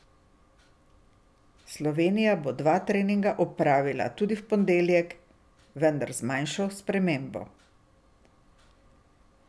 Slovenija bo dva treninga opravila tudi v ponedeljek, vendar z manjšo spremembo.